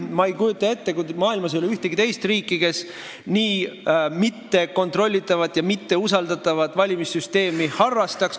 Ma ei kujuta ette, maailmas ei ole ühtegi teist riiki, kes nii mittekontrollitavat ja mitteusaldatavat valimissüsteemi harrastaks.